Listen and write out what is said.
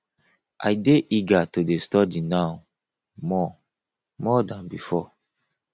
i dey eager to dey study now more more dan before